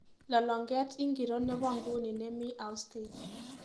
Lolong'et ingiro nebo nguni nemii Austin